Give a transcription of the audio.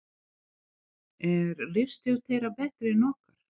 Er lífstíll þeirra betri en okkar?